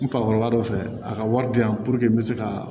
N fakɔrɔba dɔ fɛ a ka wari di yan puruke n me se ka